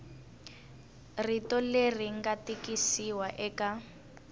rito leri nga tikisiwa eka